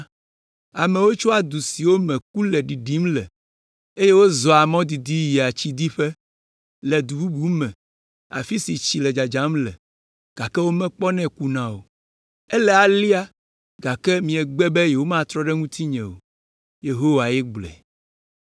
Amewo tsoa du siwo me ku le ɖiɖim le, eye wozɔa mɔ didi yia tsidiƒe le du bubu me afi si tsi le dzadzam le, gake womekpɔnɛ kuna o. Ele alea, gake miegbe be yewomatrɔ ɖe ŋutinye o.” Yehowae gblɔe.